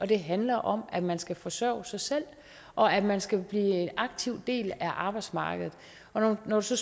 det handler om at man skal forsørge sig selv og at man skal tage aktivt del i arbejdsmarkedet og når så